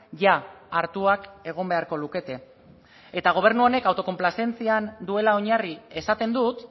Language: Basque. jada hartuak egon beharko lukete eta gobernu honek autokonplazentzian duela oinarri esaten dut